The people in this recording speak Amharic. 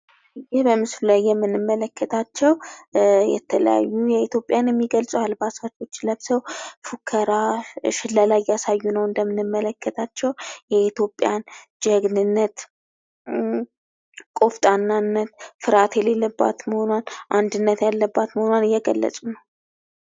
ይህ በምስሉ ላይ የምንመለከታቸው የተለያዩ የኢትዮጵያን ባህላዊ አልባሳት ለብሰው እየሸለሉ፣ እየፎከሩ እያሳዩ ነው። የኢትዮጵያን ጀግንነት ፣ ቆፍጣናነት፣ ፍርሃት የሌለባት መሆኗን፣ አንድነት ያለበት መሆኗን የሚገልጽ ነው።